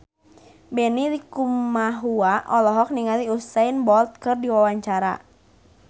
Benny Likumahua olohok ningali Usain Bolt keur diwawancara